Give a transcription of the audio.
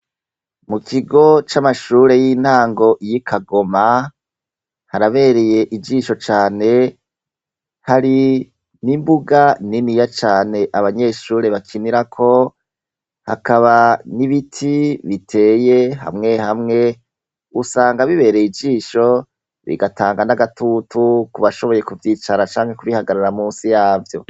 Mu kigo c'amashure y'intango y'i Kagoma, harabereye ijisho cane, hari n'imbuga niniya cane abanyeshure bakinirako, hakaba n'ibiti biteye hamwe hamwe usanga bibereye ijisho bigatanga n'agatutu kubashoboye kuvyicara canke kubihagarara munsi yavyo.